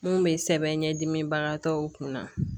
Mun bɛ sɛbɛn ɲɛdimibagatɔw kun na